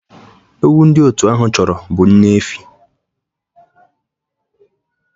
Ewu ndị otu ahụ chọrọ bụ nne efi